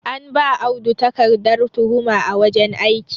an ba Audu takardar tuhuma a wajen aiki